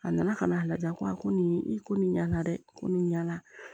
A nana ka na a lajɛ ko a ko nin i ko nin ɲana dɛ ko nin ɲana